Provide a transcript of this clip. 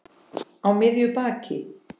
Á miðju baki.